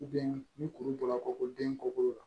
ni kuru bɔra k'o ko den kɔkolo la